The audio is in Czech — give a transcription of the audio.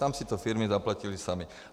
Tam si to firmy zaplatily samy.